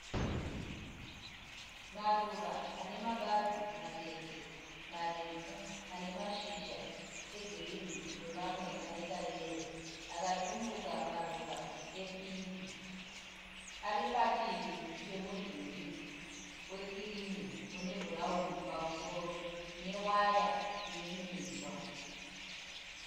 Maruva anemabazi matete, marefu. Anemashizha egirinhi nemamwe anekayero. Akatumbuka maruva epingi. Aripadivi pemudhuri wekirimu unebhurauni pamusoro, newaya ineminzwa.